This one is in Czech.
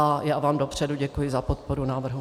A já vám dopředu děkuji za podporu návrhu.